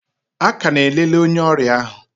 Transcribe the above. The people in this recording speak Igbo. A ka na-elele onye ọrịa ahụ.